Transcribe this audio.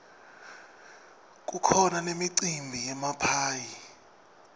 kukhona nemicimbi yemaphayhi